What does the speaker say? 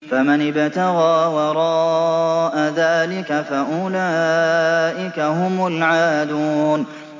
فَمَنِ ابْتَغَىٰ وَرَاءَ ذَٰلِكَ فَأُولَٰئِكَ هُمُ الْعَادُونَ